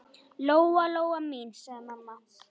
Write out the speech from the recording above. Lóa-Lóa mín, sagði mamma.